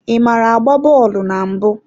Ị maara agba bọọlụ na mbụ?